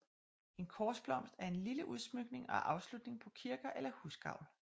En korsblomst er en lille udsmykning og afslutning på kirker eller husgavl